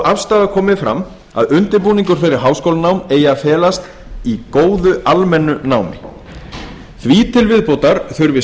afstaða komið fram að undirbúningur fyrir háskólanám eigi að felast í góðu almennu námi því til viðbótar þurfi